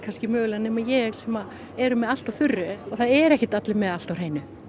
nema ég sem eru með allt á þurru og það eru ekkert allir með allt á hreinu